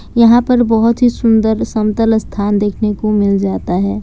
यहाँ पर बहुत ही सुंदर समतल स्थान देखने को मिल जाता है।